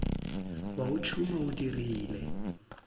wa o tšhuma o dirile